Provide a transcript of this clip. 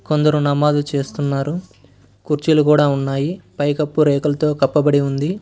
కొందరు నమాజు చేస్తున్నారు కుర్చీలు కూడా ఉన్నాయి పైకప్పు రేకులతో కప్పబడి ఉంది.